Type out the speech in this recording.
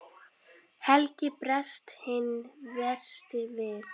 Helgi bregst hinn versti við.